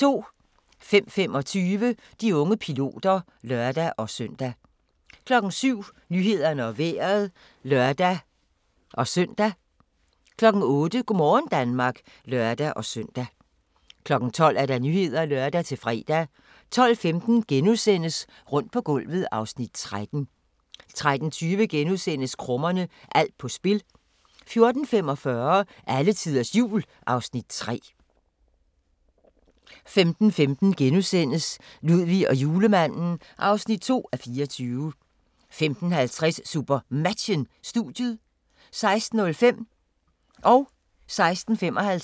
05:25: De unge piloter (lør-søn) 07:00: Nyhederne og Vejret (lør-søn) 08:00: Go' morgen Danmark (lør-søn) 12:00: Nyhederne (lør-fre) 12:15: Rundt på gulvet (Afs. 13)* 13:20: Krummerne – alt på spil * 14:45: Alletiders Jul (Afs. 3) 15:15: Ludvig og Julemanden (2:24)* 15:50: SuperMatchen: Studiet 16:05: SuperMatchen: KIF Kolding København-Aalborg (m), direkte